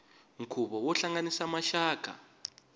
nkhuvo wo hlanganisa maxaka